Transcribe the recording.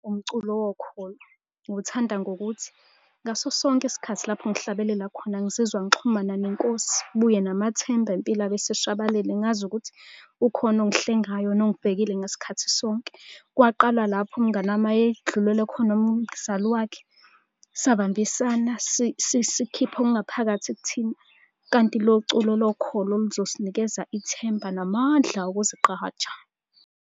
Umculo wokholo. Ngiwuthanda ngokuthi, ngaso sonke isikhathi lapho ngihlabelela khona ngizizwa ngixhumana nenkosi, kubuye namathemba empilo abeseshabalele. Ngazi ukuthi ukhona ongihlengayo nongibhekile ngasikhathi sonke. Kwaqala lapha umngani wami edlulelwe khona umzali wakhe. Sabambisana sikhipha okungaphakathi kithina kanti lo culo lokholo luzosinikeza ithemba namandla okuzigqaja.